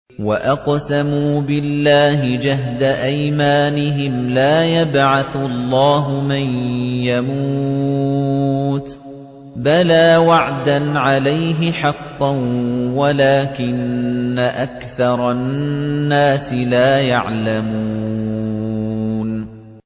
وَأَقْسَمُوا بِاللَّهِ جَهْدَ أَيْمَانِهِمْ ۙ لَا يَبْعَثُ اللَّهُ مَن يَمُوتُ ۚ بَلَىٰ وَعْدًا عَلَيْهِ حَقًّا وَلَٰكِنَّ أَكْثَرَ النَّاسِ لَا يَعْلَمُونَ